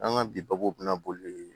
An ka bi babu bɛna boli